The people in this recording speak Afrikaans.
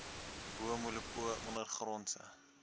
bo molopo ondergrondse